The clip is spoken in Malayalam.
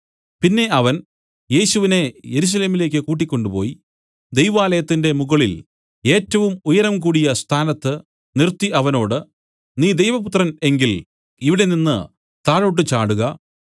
പിന്നെ അവൻ യേശുവിനെ യെരൂശലേമിലേക്ക് കൂട്ടിക്കൊണ്ട് പോയി ദൈവാലയത്തിന്റെ മുകളിൽ ഏറ്റവും ഉയരം കൂടിയ സ്ഥാനത്ത് നിർത്തി അവനോട് നീ ദൈവപുത്രൻ എങ്കിൽ ഇവിടെ നിന്നു താഴോട്ടു ചാടുക